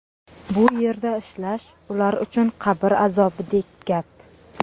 Bu yerda ishlash ular uchun qabr azobidek gap.